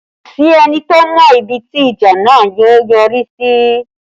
Kò sí ẹni tó mọ ibi tí ìjà náà yóò yọrí sí